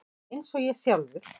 Eins og ég sjálfur.